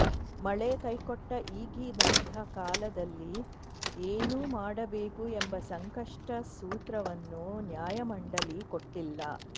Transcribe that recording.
ಮಳೆ ಕೈಕೊಟ್ಟ ಈಗಿನಂಥ ಕಾಲದಲ್ಲಿ ಏನು ಮಾಡಬೇಕು ಎಂಬ ಸಂಕಷ್ಟ ಸೂತ್ರವನ್ನು ನ್ಯಾಯಮಂಡಳಿ ಕೊಟ್ಟಿಲ್ಲ